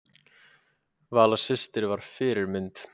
Vala systir var fyrirmynd.